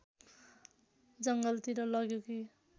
जङ्गलतिर लग्यो कि